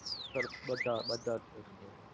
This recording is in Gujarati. sir બધા જ બધા જ case ની